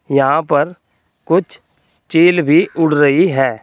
यहाँ पर कुछ चील भी उड़ रही है।